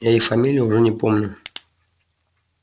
я их фамилии уже и не помню